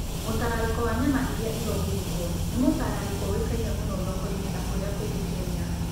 Mũtararĩko wa nyama iria irongitwo nĩ mũtararĩko ũĩkaine mũno thoko-inĩ na kũrĩa kũrĩa kũngĩ Kenya.